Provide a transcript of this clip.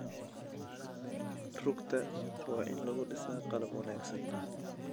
Rugta waa in lagu dhisaa qalab wanaagsan.